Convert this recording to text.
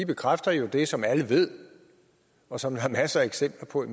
bekræfter jo det som alle ved og som der er masser af eksempler på i